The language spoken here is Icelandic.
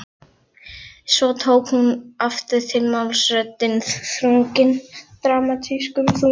Svo tók hún aftur til máls, röddin þrungin dramatískum þunga